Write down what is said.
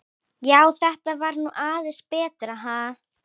Já, þetta var nú aðeins betra, ha!